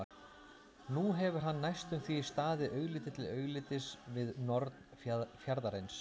Nú hefur hann næstum því staðið augliti til auglitis við norn fjarðarins.